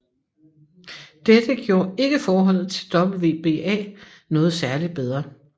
Dette gjorde ikke forholdet til WBA noget særligt bedre